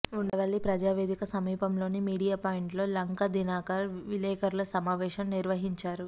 ఉండవల్లి ప్రజావేదిక సమీపంలోని media point లో లంకా దినకర్ విలేకరుల సమావేశం నిర్వహించారు